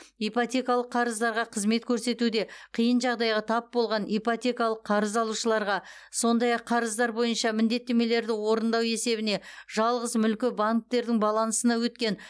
ипотекалық қарыздарға қызмет көрсетуде қиын жағдайға тап болған ипотекалық қарыз алушыларға сондай ақ қарыздар бойынша міндеттемелерді орындау есебіне жалғыз мүлкі банктердің балансына өткен